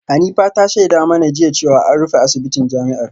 Hanifa ta shaida mana jiya cewa an rufe asibitin jami’ar